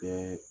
Kɛ